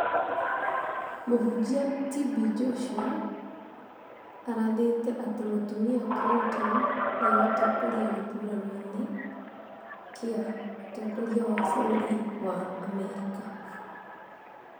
Mũhunjia TB Joshua arathĩte atĩ mũtumia Clinton nĩ egũtoria gĩthurano-inĩ kĩa ũtongoria wa bũrũri wa Amerika